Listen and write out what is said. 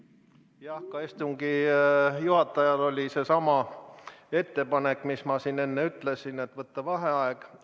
Jah, ka istungi juhatajal oli seesama ettepanek, mis ma siin enne ütlesin, et võtta vaheaeg.